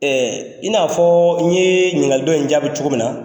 i na fɔ n ye ɲininkali dɔn in jaabi cogo min na